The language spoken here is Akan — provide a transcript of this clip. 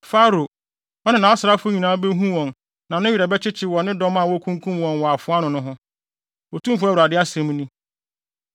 “Farao, ɔne nʼasraafo nyinaa behu wɔn na ne werɛ bɛkyekye wɔ ne dɔm a wokunkum wɔn wɔ afoa ano no ho, Otumfo Awurade asɛm ni.